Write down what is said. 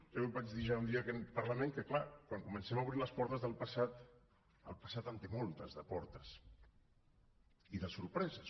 jo vaig dir ja un dia en aquest parlament que clar quan comencem a obrir les portes del passat el passat en té moltes de portes i de sorpreses